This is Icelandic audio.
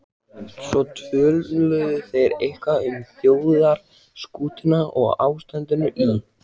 Svo töluðu þeir eitthvað um þjóðarskútuna og ástandið í